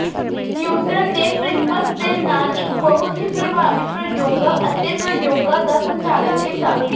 Newton ਨੇ prisms ਦੇ ਨਾਲ ਇੱਕ ਬਹੁਤ ਹੀ ਪ੍ਰਭਾਵੀ ਪ੍ਰਯੋਗਾਂ ਅਤੇ ਪ੍ਰਯੋਗਾਂ ਦਾ ਸੰਚਾਲਨ ਕੀਤਾ